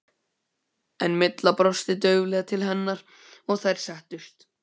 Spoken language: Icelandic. En Milla brosti dauflega til hennar og þær settust.